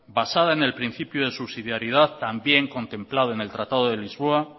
basada en el principio de subsidiariedad también contemplando en el tratado de lisboa